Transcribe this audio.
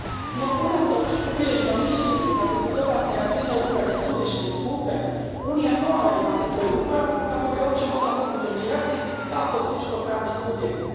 No, unatoč uvriježenom mišljenju kako su dodatne razine uprave suvišne i skupe, Unija mora imati svoju upravu kako bi uopće mogla funkcionirati kao političko pravni subjekt.